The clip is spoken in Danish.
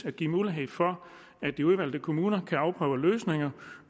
at give muligheder for at de udvalgte kommuner kan afprøve løsninger